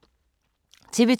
TV 2